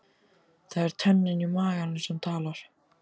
Það er tönnin í maganum sem talar.